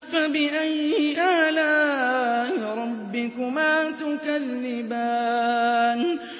فَبِأَيِّ آلَاءِ رَبِّكُمَا تُكَذِّبَانِ